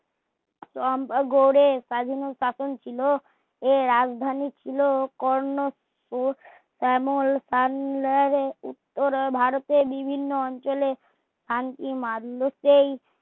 গড়ে স্বাধীন ও শাসন ছিলো এ রাজধানী ছিলো কর্ণ শ্যামল পর্ণবে উত্তরে ভারতের বিভিন্ন অঞ্চলে শান্তি মারলুকেই